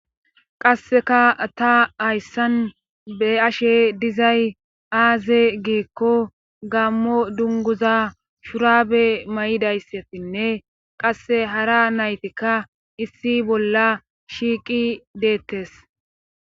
qasseka ta hayssan be'ashe dizay aaze giikko gammo dunguza shuraabe mayidayssetinne qasse hara naytikka issi bolla shiiqi deettes